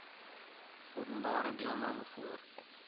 openbare deelname voor